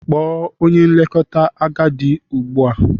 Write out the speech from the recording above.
Kpọọ onye nlekọta agadi ugbu a!